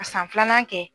Ka san filanan kɛ